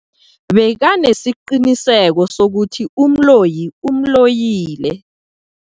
Bekanesiqiniseko sokuthi umloyi umloyile.